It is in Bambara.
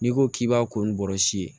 N'i ko k'i b'a ko ni bɔrɔsi ye